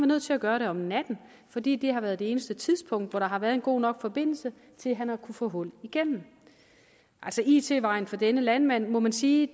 nødt til at gøre det om natten fordi det har været det eneste tidspunkt hvor der har været en god nok forbindelse til at han har kunnet få hul igennem altså it vejen for denne landmand må man sige